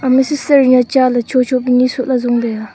ema sister cha le cho cho ni soh ley jong taiga.